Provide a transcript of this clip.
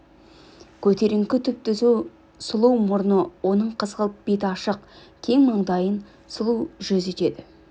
көтеріңкі түп-түзу сұлу мұрны оның қызғылт бет ашық кең маңдайын сұлу жүз етеді